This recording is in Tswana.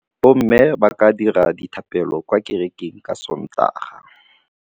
Bommê ba tla dira dithapêlô kwa kerekeng ka Sontaga.